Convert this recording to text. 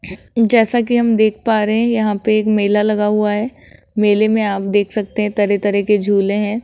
जैसा की हम देख पा रहे है यहां पे एक मेला लगा हुआ है मेले मे आप देख सकते हैं तरह तरह के झूले हैं।